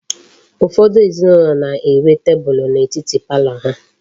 Ufodu ezinaulo na-enwe teebul n'etiti parlor ha